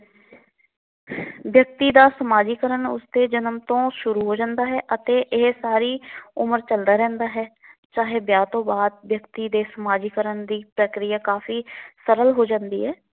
ਵਿਅਕਤੀ ਦਾ ਸਮਾਜੀਕਰਨ ਉਸ ਦੇ ਜਨਮ ਤੋਂ ਸ਼ੁਰੂ ਹੋ ਜਾਦਾ ਹੈ ਅਤੇ ਇਹ ਸਾਰੀ ਉਮਰ ਚੱਲਦਾ ਰਹਿੰਦਾ ਹੈ। ਚਾਹੇ ਵਿਆਹ ਤੋਂ ਬਾਅਦ ਵਿਅਕਤੀ ਦੇ ਸਮਾਜੀਕਰਨ ਦੀ ਪ੍ਰੀਕਿਆਂ ਕਾਫੀ ਸਰਲ ਹੋ ਜਾਦੀ ਹੈ।